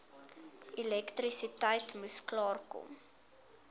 elektrisiteit moes klaarkom